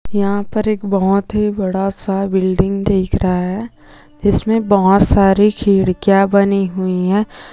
यहा पर एक बहुत ही बड़ा-सा बिल्डिंग दिख रहा है इसमे बहुत सारे खिड़किया बनी हुई है।